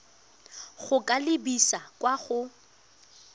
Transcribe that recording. go ka lebisa kwa go